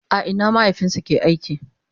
a Ina mahaifinsu ya ke aiki?